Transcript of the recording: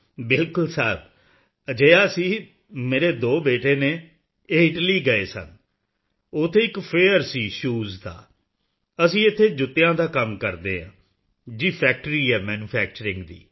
ਬਿਲਕੁਲ ਸਾਹਿਬ ਅਜਿਹਾ ਸੀ ਮੇਰੇ ਦੋ ਬੇਟੇ ਹਨ ਇਹ ਇਟਲੀ ਗਏ ਸਨ ਉੱਥੇ ਇੱਕ ਫੇਅਰ ਸੀ ਸ਼ੋਜ਼ ਦਾ ਅਸੀਂ ਇੱਥੇ ਜੁੱਤਿਆਂ ਦਾ ਕੰਮ ਕਰਦੇ ਹਨ ਜੀ ਫੈਕਟਰੀ ਹੈ ਮੈਨੂਫੈਕਚਰਿੰਗ ਦੀ